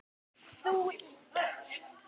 Þú líka.